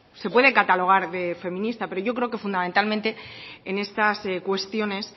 se puede catalogar de feminista pero yo creo que fundamentalmente en estas cuestiones